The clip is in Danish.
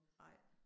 Nej